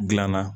Gilan na